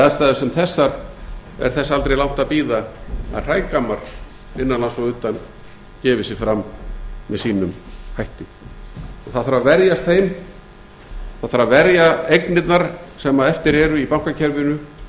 aðstæður sem þessar er þess aldrei langt að bíða að hrægammar innan lands og utan gefi sig fram með sínum hætti það þarf að verjast þeim það þarf að verja eignirnar sem eftir eru í bankakerfinu og